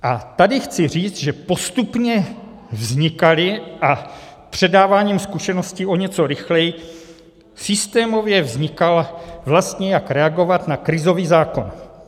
A tady chci říct, že postupně vznikaly a předáváním zkušeností o něco rychleji systémově vznikal, vlastně jak reagovat na krizový zákon.